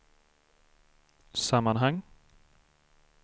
sammanhang